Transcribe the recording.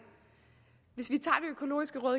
hvis vi